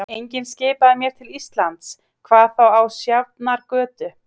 Enginn skipaði mér til Íslands, hvað þá á Sjafnargötu.